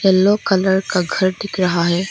Yellow colour का घर दिख रहा है।